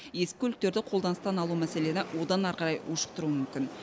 ескі көліктерді қолданыстан алу мәселені одан ары қарай ушықтыруы мүмкін